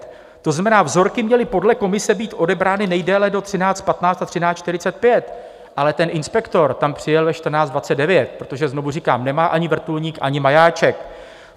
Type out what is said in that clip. To znamená, vzorky měly podle komise být odebrány nejdéle do 13.15 a 13.45, ale ten inspektor tam přijel ve 14.29, protože, znovu říkám, nemá ani vrtulník, ani majáček.